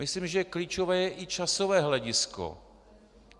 Myslím, že klíčové je i časové hledisko.